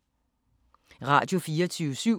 Radio24syv